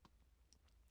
DR K